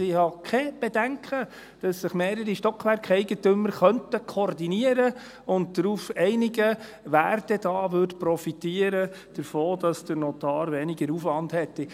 Ich habe keine Bedenken, dass sich mehrere Stockwerkeigentümer koordinieren und sich darauf einigen könnten, wer denn davon profitieren würde, dass der Notar weniger Aufwand hätte.